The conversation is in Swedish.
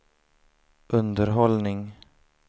underhållning